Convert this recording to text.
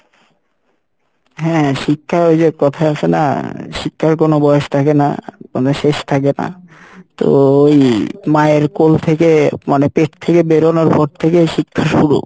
হ্যাঁ শিক্ষার ওইযে কথাই আসে না শিক্ষার কোনো বয়স থাকে না, মানে শেষ থাকে না তো ওই মায়ের কোল থেকে মানে পেট থেকে বেরোনোর পর থেকে শিক্ষা শুরু